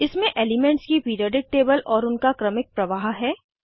इसमें एलिमेंट्स की periodic table और उनका क्रमिक प्रवाह है